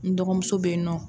N dɔgɔmuso bɛ yen nɔ.